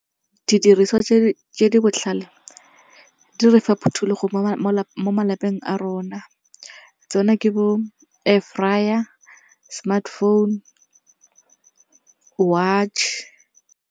Didiriswa tse di botlhale di re fa phuthulogo mo malapeng a rona. Tsone ke bo air fryer, smartphone, watch.